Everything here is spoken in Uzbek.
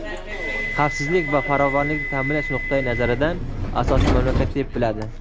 xavfsizlik va farovonlikni ta’minlash nuqtai nazaridan asosiy mamlakat deb biladi.